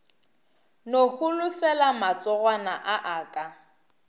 no holofela matsogwana a aka